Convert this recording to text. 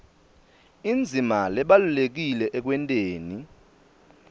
indzima lebalulekile ekwenteni